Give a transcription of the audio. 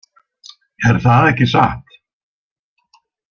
Er það ekki satt?